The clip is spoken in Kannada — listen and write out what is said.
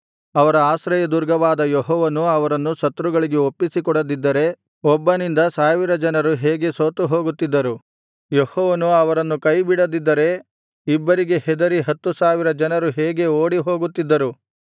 ಅವರ ಆಶ್ರಯದುರ್ಗವಾದ ಯೆಹೋವನು ಅವರನ್ನು ಶತ್ರಗಳಿಗೆ ಒಪ್ಪಿಸಿಕೊಡದಿದ್ದರೆ ಒಬ್ಬನಿಂದ ಸಾವಿರ ಜನರು ಹೇಗೆ ಸೋತುಹೋಗುತ್ತಿದ್ದರು ಯೆಹೋವನು ಅವರನ್ನು ಕೈಬಿಡದಿದ್ದರೆ ಇಬ್ಬರಿಗೆ ಹೆದರಿ ಹತ್ತು ಸಾವಿರ ಜನರು ಹೇಗೆ ಓಡಿಹೋಗುತ್ತಿದ್ದರು